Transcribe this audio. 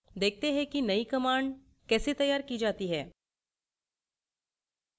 देखते हैं कि नयी command कैसे तैयार की जाती है